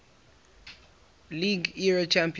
league era champions